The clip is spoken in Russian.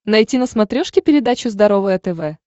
найти на смотрешке передачу здоровое тв